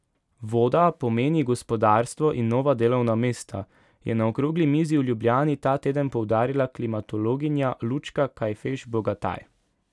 Voda pomeni gospodarstvo in nova delovna mesta, je na okrogli mizi v Ljubljani ta teden poudarila klimatologinja Lučka Kajfež Bogataj.